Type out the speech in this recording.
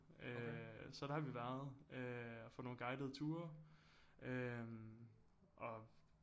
Øh så der har vi været øh og få nogle guidede ture øh og